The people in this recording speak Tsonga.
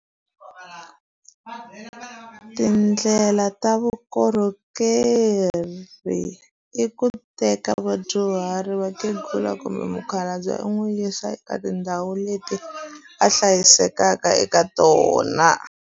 Tindlela ta vukorhokeri i ku teka vadyuhari vakhegula kumbe mukhalabye u n'wi yisa eka tindhawu leti a hlayisekaka eka tona.